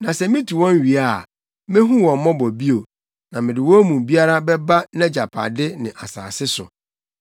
Na sɛ mitu wɔn wie a, mehu wɔn mmɔbɔ bio, na mede wɔn mu biara bɛba nʼagyapade, ne nʼasase so.